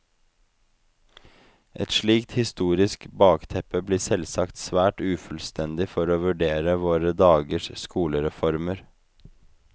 Et slikt historisk bakteppe blir selvsagt svært ufullstendig for å vurdere våre dagers skolereformer.